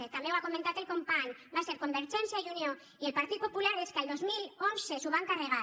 també ho ha comentat el company van ser convergència i unió i el partit popular els que el dos mil onze s’ho van carregar